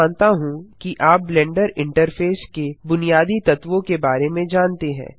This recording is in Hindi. मैं मानता हूँ कि आप ब्लेंडर इंटरफेस के बुनियादी तत्वों के बारे में जानते हैं